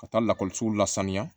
Ka taa lakɔliso la saniya